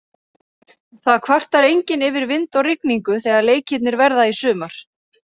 Það kvartar enginn yfir vind og rigningu þegar leikirnir verða í sumar.